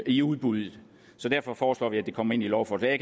i udbuddet så derfor foreslår vi at det kommer ind i lovforslaget